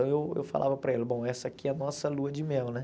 Então eu eu falava para ela, bom, essa aqui é a nossa lua de mel, né?